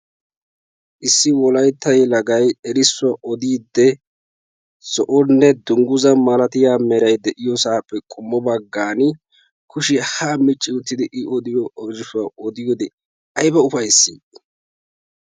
Issi wolaytta yelagayi erisso odiidi zo7onne dungguzza malatiya merayi de7iyoosaappe qommo baggaani kushiya haa micci uttidi i odiyo oyshuwa odiyoode ayba ufayisdii.